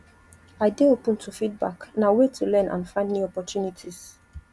i dey open to feedback na way to learn and find new opportunities